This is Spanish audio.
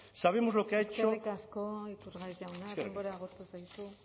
sabemos lo que ha hecho eskerrik asko iturgaiz jauna denbora agortu zaizu